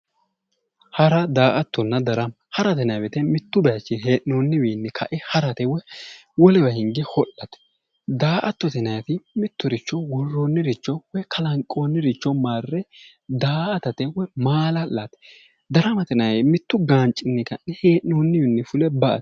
Hara daa"attonna darama mittu baychinni hee'noonniwiinni ka"ate woy wolewa hinge hodhate daa"attote yinayti worroonniricho woy kalanqoonniricho marre daa"atate woy la"ate daramate yinayti mittu baychi hee'noonniwiinni fule ba"ate